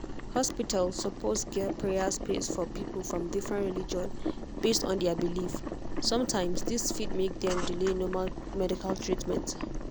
hospital suppose get prayer space for people from different religion based on their belief. sometimes this fit make dem delay normal medical treatment.